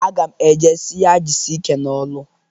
Aga m e je si ya jisie ike n'ọlụ.